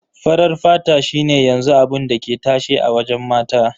Farar fata shi ne yanzu abun da ke tashe a wajen mata.